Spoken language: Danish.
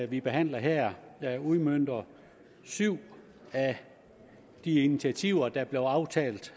vi behandler her udmønter syv af de initiativer der blev aftalt